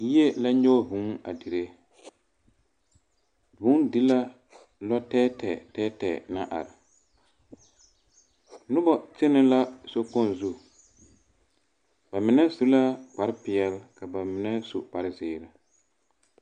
Yie la nyɔge vŭŭ a dire. Vŭŭ di la lɔtɛɛtɛɛ tɛɛtɛɛ naŋ are. Nobɔ kyene la sokpoŋ zu, ba mine su la kparepeɛl ka ba mine su kparezeere.